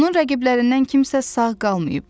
Onun rəqiblərindən kimsə sağ qalmayıb.